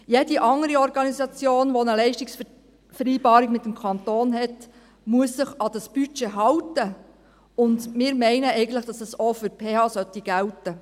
Jede andere Organisation, die eine Leistungsvereinbarung mit dem Kanton hat, muss sich an dieses Budget halten, und wir meinen eigentlich, dass dies auch für die PH gelten sollte.